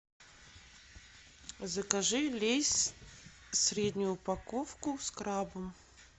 закажи лейс среднюю упаковку с крабом